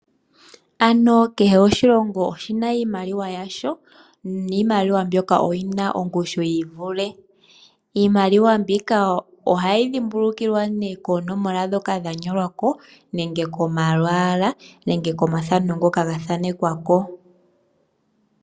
Kehe oshilongo oshina iimaliwa yasho. Niimaliwa mbyoka oyina ongushu yiivule . Iimaliwa mbika ohayi dhimbululiwa koonomola ndhoka dha nyolwako, komalwaala nokomafano ngoka gathanekwako.